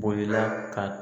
Bo i la ka